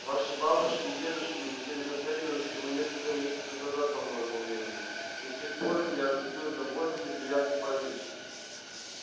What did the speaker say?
ваши бабушки и дедушки улетели на терминус всего несколько месяцев назад по моему времени и с тех пор меня разбил довольно неприятный паралич